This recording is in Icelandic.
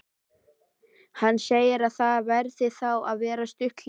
Hann segir að það verði þá að vera stutt hlé.